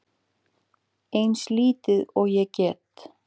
Eins lítil og ég get.